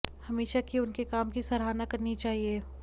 हमेशा की उनके काम की सराहना करनी चाहिये